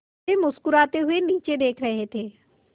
वे मुस्कराते हुए नीचे देख रहे थे